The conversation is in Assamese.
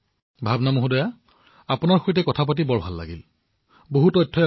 ভাৱনা জী মই আপোনাৰ সৈতে কথা পাতি খুব ভাল পালো আপুনি খুব ভাল তথ্য দিলে